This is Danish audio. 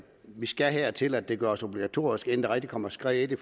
vi skal hertil at det gøres obligatorisk inden der rigtig kommer skred i det